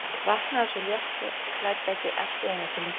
Vaknaði sú léttklædda ekki allt í einu til lífsins!